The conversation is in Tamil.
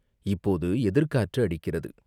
"இப்போது எதிர்க்காற்று அடிக்கிறது.